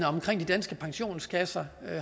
omkring de danske pensionskasser